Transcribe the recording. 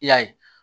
I y'a ye